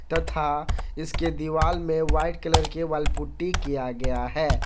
तथा इसके दीवाल में व्हाईट कलर की वॉल पुटी किया गया हैं।